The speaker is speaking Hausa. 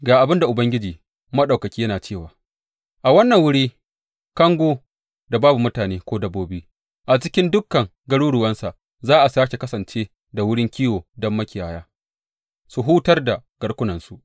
Ga abin da Ubangiji Maɗaukaki yana cewa, A wannan wuri, kango da babu mutane ko dabbobi, cikin dukan garuruwansa za a sāke kasance da wurin kiwo don makiyaya su hutar da garkunansu.